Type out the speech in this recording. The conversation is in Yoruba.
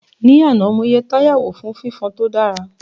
Ní àná, mo yẹ táyà wò fún fifon tó dára